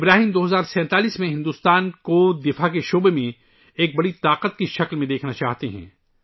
ابراہیم 2047 ء میں ہندوستان کو دفاعی میدان میں ایک بڑی طاقت کے طور پر دیکھنا چاہتے ہیں